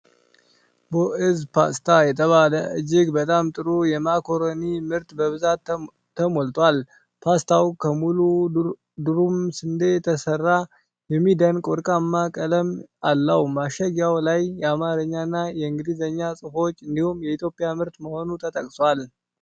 ቦዕዝ ፓስታ የተባለ እጅግ በጣም ጥሩ የማካሮኒ ምርት በብዛት ተሞልቷል። ፓስታው ከሙሉ ዱረም ስንዴ የተሠራ የሚደንቅ ወርቃማ ቀለም አለው። ማሸጊያው ላይ የአማርኛና የእንግሊዝኛ ጽሁፎች እንዲሁም የኢትዮጵያ ምርት መሆኑ ተጠቅሷል።